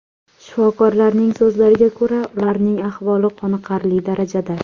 Shifokorlarning so‘zlariga ko‘ra, ularning ahvoli qoniqarli darajada.